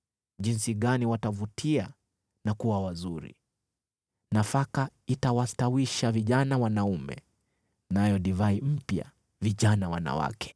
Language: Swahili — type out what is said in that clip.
Jinsi gani watavutia na kuwa wazuri! Nafaka itawastawisha vijana wanaume, nayo divai mpya vijana wanawake.